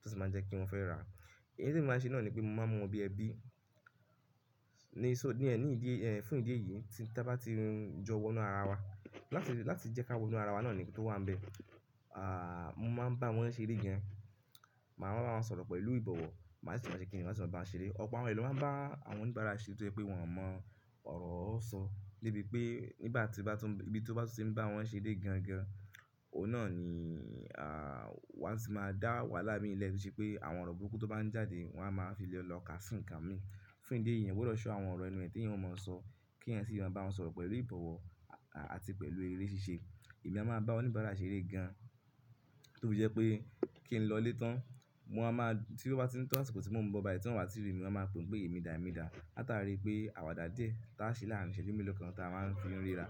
tó sì máa jẹ́ kí wọ́n fẹ́ rà á. Èyí tí èmi máa ṣe náà ni pé mo máa mú wọn bí ẹbí. Ni, so, ní ẹ̀ní ìdí, eh, fún ìdí èyí tí bá ti jọwọ́ inú ara wa láti, láti jẹ́ ká wo inú ara wa náà ni tó wà níbẹ̀. Ah, mo máa ń bá wọn ṣe eré gan. Màá máa bá wọn sọ̀rọ̀ pẹ̀lú ìbọ̀wọ̀, màá sì máa ṣe kí wọn sì máa bá wọn ṣe eré. Ọ̀pọ̀ àwọn ẹlòmíràn bá àwọn oníbàárà ṣe tó pé wọn ò mọ ọ̀rọ̀ ó ń sọ. Débi pé nígbà ibi tí ó bá tún ṣe ń bá wọn ṣe eré gan gan, òun náà ni wa tì máa dá wahala milẹ̀ to se pé àwọn ọ̀rọ̀ burúkú tó bá ń jáde wọ́n á máa fi lẹ̀ lọ ká si ǹkan mi. Fún ìdí èyí, eyan gbọdọ̀ sọ àwọn ọ̀rọ̀ enú ẹ tí èèyàn ò mọ sọ kí ẹyan sì máa bá wọn sọ̀rọ̀ pẹ̀lú ìbọ̀wọ̀ àti pẹ̀lú eré ṣíṣe. Èmi a máa bá oníbàárà ṣe eré gan to fi je wipé kí n lọlé tán, wo amáa tí ó bá tin to sípò tí mò ń bọ ba ẹ̀ tí wọ́n wá ti rí mi, mo máa pè pé èmi dà èmi dà. Áta rí pé àwàdà díẹ̀ táa ṣe láàárín iṣẹ́jú mélòó kan táa máa ń fi ríra.